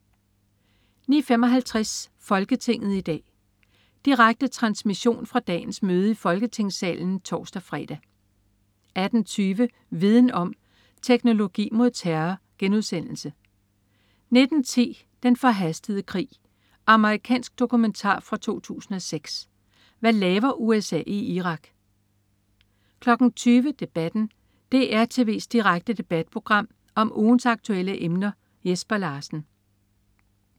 09.55 Folketinget i dag. Direkte transmission fra dagens møde i Folketingssalen (tors-fre) 18.20 Viden om: Teknologi mod terror* 19.10 Den forhastede krig. Amerikansk dokumentar fra 2006. Hvad laver USA i Irak? 20.00 Debatten. DR tv's direkte debatprogram om ugens aktuelle emner. Jesper Larsen